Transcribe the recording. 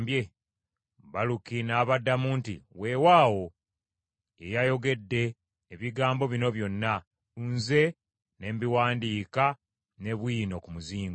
Baluki n’abaddamu nti, “Weewaawo ye yayogedde ebigambo bino byonna, nze ne mbiwandiika ne bwino ku muzingo.”